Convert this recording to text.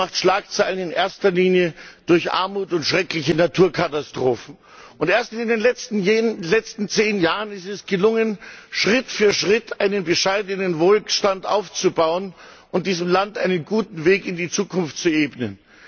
Es macht Schlagzeilen in erster Linie durch Armut und schreckliche Naturkatastrophen. Und erst in den letzten zehn Jahren ist es gelungen, Schritt für Schritt einen bescheidenen Wohlstand aufzubauen und diesem Land einen guten Weg in die Zukunft zu ebnen.